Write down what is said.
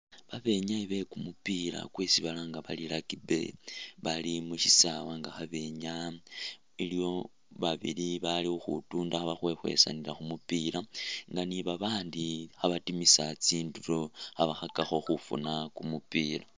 Babenyayi bekumupila kwesi balanga bari rugby bali mushisawe nga khabenyaa iliwo babili bali khukhutunda nga khabakhwekhwesanila khumupila nga ni'babandi khabatimisa tsindulo khabakhakakho khufuna kumupila